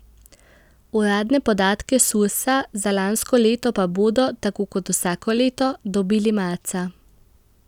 Uradne podatke Sursa za lansko leto pa bodo, tako kot vsako leto, dobili marca.